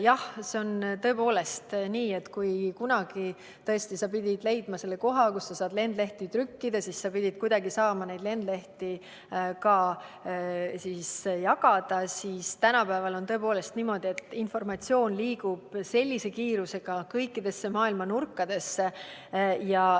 Jah, see on tõepoolest nii, et kunagi pidid sa leidma koha, kus sa saad lendlehti trükkida, ja siis pidid sa kuidagi saama neid lendlehti ka jagada, aga tänapäeval liigub informatsioon suure kiirusega kõikidesse maailmanurkadesse.